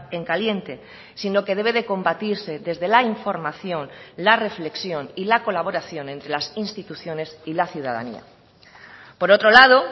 en caliente sino que debe de combatirse desde la información la reflexión y la colaboración entre las instituciones y la ciudadanía por otro lado